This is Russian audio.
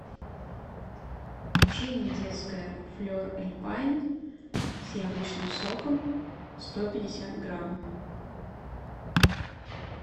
печенье детское флер эльпайн с яблочным соком сто пятьдесят грамм